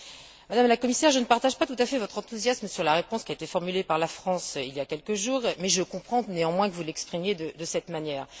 Madame la Commissaire, je ne partage pas entièrement votre enthousiasme sur la réponse qui a été formulée par la France il y a quelques jours mais je comprends néanmoins que vous l'exprimiez de cette manière.